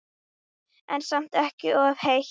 En samt ekki of heitt.